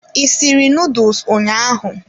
I sịrị noodles ụnyaahụ?